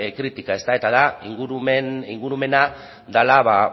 kritika eta da ingurumena dela